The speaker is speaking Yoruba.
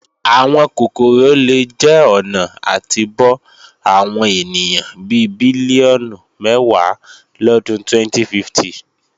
Àwọn kòkòrò lè jẹ́ ọ̀nà àti bọ́ àwọn ènìyàn bi bílíọ̀nù mẹ́wàá lọdún 2050.